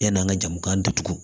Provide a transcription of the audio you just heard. Yann'an ka jamu datugu